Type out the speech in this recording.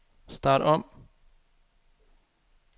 start om